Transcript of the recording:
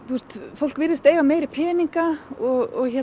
fólk virðist eiga meiri peninga og